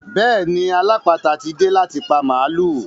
Bẹ́ẹ̀ni alápàáta tí dé láti pa màlúù.